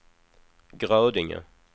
Grödinge